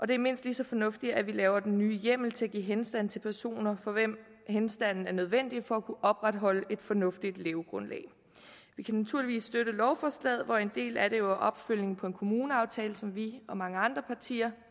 det er mindst lige så fornuftigt at vi laver den nye hjemmel til at give henstand til personer for hvem henstanden er nødvendig for at kunne opretholde et fornuftigt levegrundlag vi kan naturligvis støtte lovforslaget hvor en del af det jo er opfølgning på en kommuneaftale som vi og mange andre partier